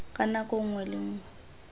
ka nako nngwe le nngwe